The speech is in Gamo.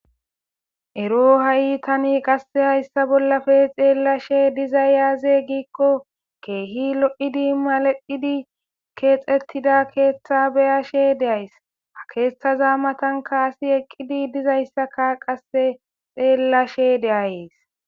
ero ha7i tani qasse hayssa bollafe xeellashe diza yaaze giikko keehi lo7idi malaidi keexettida keeththa beyashe deyays ha keeththaza matan kaasi eqqidi dizayssaka qasse xeellashe de7ayees